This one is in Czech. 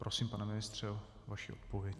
Prosím, pane ministře, o vaši odpověď.